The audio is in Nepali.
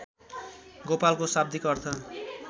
गोपालको शाब्दिक अर्थ